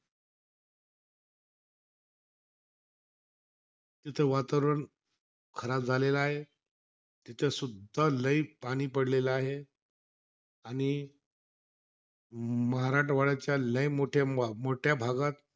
तिथं वातावरण खराब झालेला आहे. तिथंसुद्धा लई पाणी पडलेला आहे. आणि म्हराठवाड्याच्या लई मोठे मोठ्या भागात,